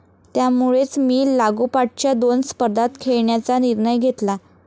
त्यामुळेच मी लागोपाठच्या दोन स्पर्धांत खेळण्याचा निर्णय घेतला.